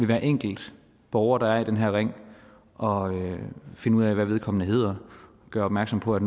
hver enkelt borger der er i den her ring og finde ud af hvad vedkommende hedder og gøre opmærksom på at